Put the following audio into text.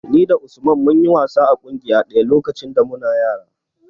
Ni da Usman mun yi wasa a ƙungiya ɗaya lokacin da muna yara.